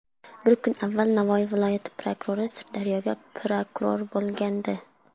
Bir kun avval Navoiy viloyati prokurori Sirdaryoga prokuror bo‘lgandi.